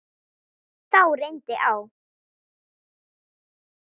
Þá reyndi á.